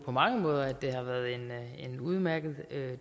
på mange måder at det har været en en udmærket